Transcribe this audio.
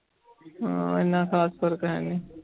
ਹਾਂ ਇੰਨਾ ਖ਼ਾਸ ਫ਼ਰਕ ਹੈਨੀ।